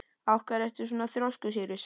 Af hverju ertu svona þrjóskur, Sýrus?